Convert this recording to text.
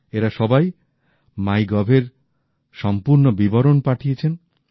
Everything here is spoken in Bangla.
এরা সবাই মাই গভের সম্পুর্ণ বিবরণ পাঠিয়েছেন